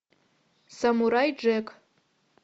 самурай джек